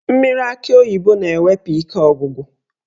Mmiri akị oyibo na-ewepụ ike ọgwụgwụ.